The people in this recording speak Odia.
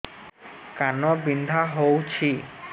କାନ ବିନ୍ଧା ହଉଛି